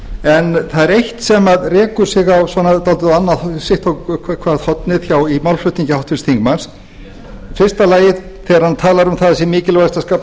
en það er eitt sem rekur sig sitt á hvert hornið í málflutningi háttvirts þingmanns í fyrsta lagi að þegar hann talar um að það sé mikilvægt að skapa